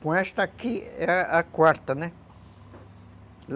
Com esta aqui é a quarta, né?